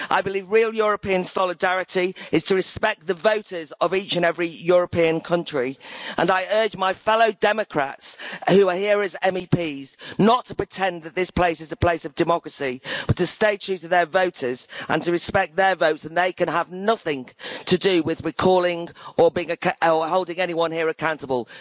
I believe real European solidarity is to respect the voters of each and every European country, and I urge my fellow Democrats who are here as MEPs not to pretend that this place is a place of democracy but to stay true to their voters and to respect their votes and they can have nothing to do with recalling or holding anyone here accountable.